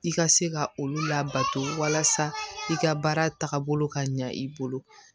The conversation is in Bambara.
I ka se ka olu labato walasa i ka baara tagabolo ka ɲa i bolo